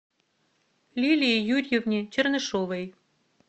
лилии юрьевне чернышовой